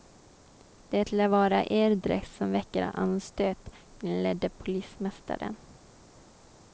Det lär vara er dräkt som väcker anstöt, inledde polismästaren.